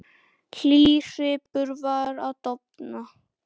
Hlýr svipur var að dofna.